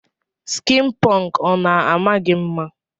Skin punk ọna ama gi mma.